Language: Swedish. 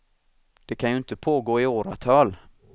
Det kan ju inte pågå i åratal.